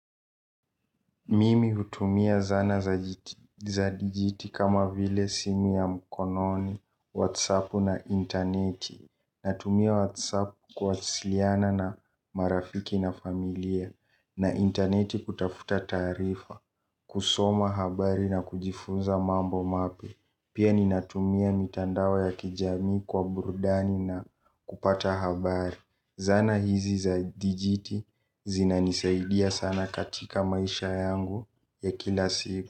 Mimi hutumia zana za dijiti kama vile simu ya mkononi, whatsap na intaneti. Natumia whatsap kuwasiliana na marafiki na familia na intaneti kutafuta taarifa kusoma habari na kujifunza mambo mapya. Pia ninatumia mitandao ya kijamii kwa burudani na kupata habari. Zana hizi za dijiti zina nisaidia sana katika maisha yangu ya kila siku.